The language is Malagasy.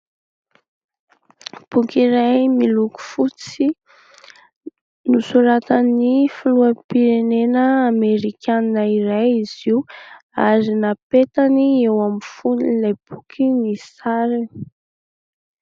Boky iray miloko fotsy nosoratan'ny filoham-pirenena amerikanina iray izy io ary napetany eo amin'ny fonin'ilay boky ny sariny.